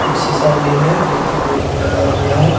उ शीशा भी है | इलेक्ट्रिक बोर्ड भी लगा हुआ है |